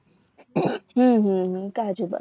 હમ હમ હમ કાજુ